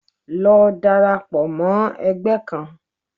Lọ darapọ̀ mọ ẹgbẹ́ kan!